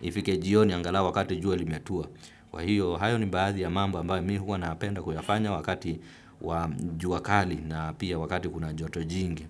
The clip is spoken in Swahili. ifike jioni angalau wakati jua limetua. Kwa hiyo, hayo ni baadhi ya mambo ambayo mimi huwa napenda kuyafanya wakati wa jua kali na pia wakati kuna joto jingi.